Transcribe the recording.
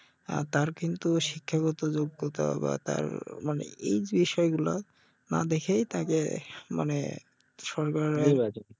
তার কিন্তু শিক্ষাগত যোগ্যতা বা তার মানে এই বিষয়গুলা না দেখেই তাকে মানে সরকার